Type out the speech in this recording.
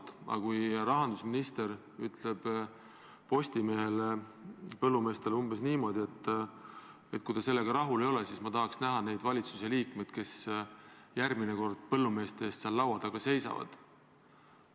Aga mida arvata, kui rahandusminister ütleb Postimehele ja põllumeestele umbes nii, et kui nad sellega rahul ei ole, siis ma tahaks näha neid valitsuse liikmeid, kes järgmine kord põllumeeste eest seal laua taga seisavad?